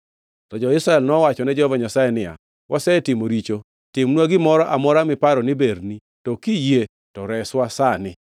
To jo-Israel nowachone Jehova Nyasaye niya, “Wasetimo richo. Timnwa gimoro amora miparo ni berni, to kiyie to reswa sani.”